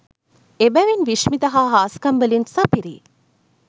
එබැවින් විශ්මිත හා හාස්කම් වලින් සපිරි